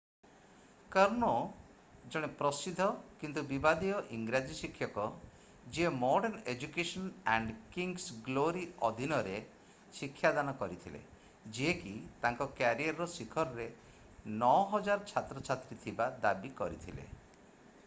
କର୍ନୋ ଜଣେ ପ୍ରସିଦ୍ଧ କିନ୍ତୁ ବିବାଦୀୟ ଇଂରାଜୀ ଶିକ୍ଷକ ଯିଏ modern education and kings glory ଅଧୀନରେ ଶିକ୍ଷାଦାନ କରିଥିଲେ ଯିଏକି ତାଙ୍କ କ୍ୟାରିୟର୍‌ର ଶିଖରରେ 9000 ଛାତ୍ରଛାତ୍ରୀ ଥିବା ଦାବି କରିଥିଲେ ।